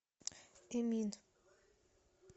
эмин